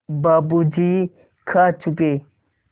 बाबू जी खा चुके